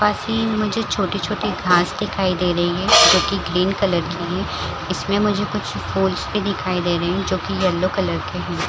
पास ही मुझे छोटे छोटे घास दिखाई दे रही है जो की ग्रीन कलर की है इसमे मुझे कुछ फूल्स भी दिखाई दे रहे है जो की येलो कलर के है ।